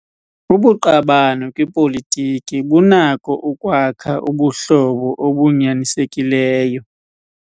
Ubuqabane kwipolitiki bunako ukwakha ubuhlobo obunyanisekileyo.